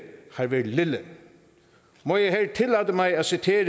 har været lille må jeg her tillade mig at citere